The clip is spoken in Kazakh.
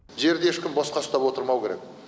жерді ешкім босқа ұстап отырмау керек